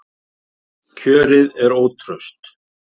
Kjörið er ótraust